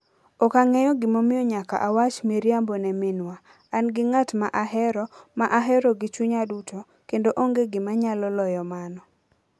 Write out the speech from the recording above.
Ok ang'eyo gimomiyo nyaka awach miriambo ne minwa. An gi ng'at ma ahero, ma ahero gi chunya duto, kendo onge gima nyalo loyo mano.